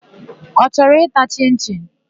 Ọ chọrọ ịta chịn-chịn?